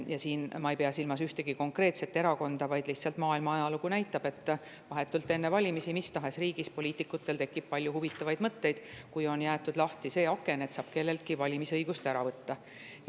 Ma ei pea silmas ühtegi konkreetset erakonda, vaid lihtsalt maailma ajalugu näitab, et vahetult enne valimisi tekib mis tahes riigis poliitikutel palju huvitavaid mõtteid, kui on jäetud lahti see aken, et saab kelleltki valimisõiguse ära võtta.